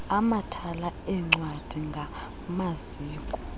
amathala eencwadi ngamaziko